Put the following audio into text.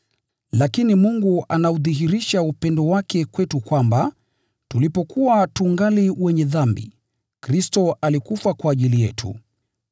Lakini Mungu anaudhihirisha upendo wake kwetu kwamba: Tulipokuwa tungali wenye dhambi, Kristo alikufa kwa ajili yetu.